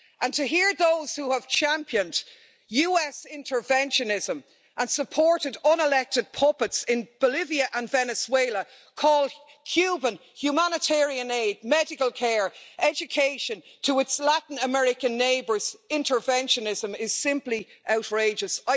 To hear those who have championed US interventionism and supported unelected puppets in Bolivia and Venezuela call Cuban humanitarian aid, medical care and education to its Latin American neighbours interventionism' is simply outrageous.